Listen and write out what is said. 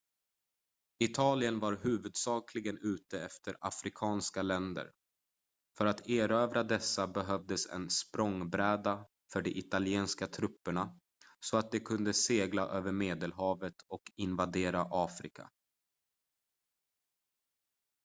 italien var huvudsakligen ute efter afrikanska länder för att erövra dessa behövdes en språngbräda för de italienska trupperna så att de kunde segla över medelhavet och invadera afrika